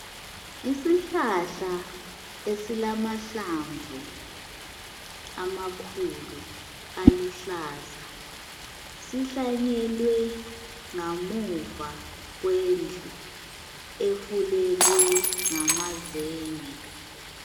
Isihlahla esilamahlamvu amakhulu aluhlaza sihlanyelwe ngamuva kwendlu efulelwe ngamazenge.